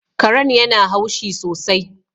Karen yana haushi sosai